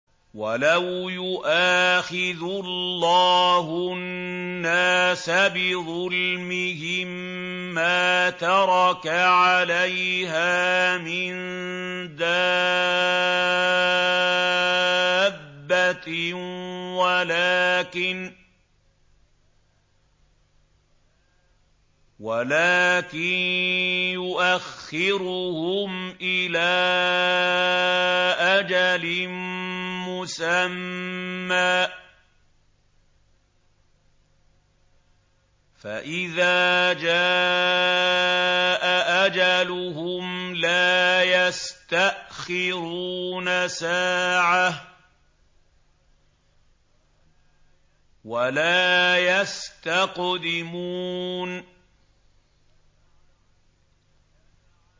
وَلَوْ يُؤَاخِذُ اللَّهُ النَّاسَ بِظُلْمِهِم مَّا تَرَكَ عَلَيْهَا مِن دَابَّةٍ وَلَٰكِن يُؤَخِّرُهُمْ إِلَىٰ أَجَلٍ مُّسَمًّى ۖ فَإِذَا جَاءَ أَجَلُهُمْ لَا يَسْتَأْخِرُونَ سَاعَةً ۖ وَلَا يَسْتَقْدِمُونَ